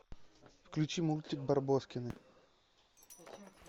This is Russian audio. включи мультик барбоскины